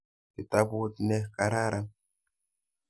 Kitaput ne kararan.